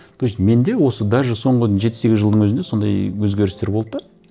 то есть менде осы даже соңғы жеті сегіз жылдың өзінде сондай өзгерістер болды да